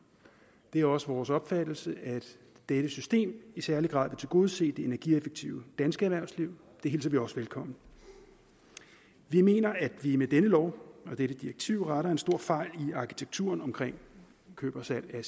det er også vores opfattelse at dette system i særlig grad vil tilgodese det energieffektive danske erhvervsliv og det hilser vi også velkommen vi mener at vi med denne lov og dette direktiv retter en stor fejl i arkitekturen omkring køb og salg af